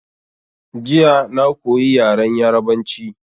Jiya na koyi yaren Yarabanci